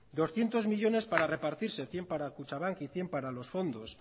doscientos millónes para repartirse cien para kutxabank y cien para los fondos